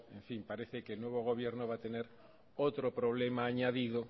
parece que el nuevo gobierno va a tener otro problema añadido